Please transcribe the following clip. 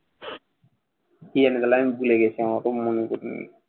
কী একটা লাইন ভুলে গেছি আমার তো মনে পরছে না